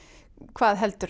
hvað heldur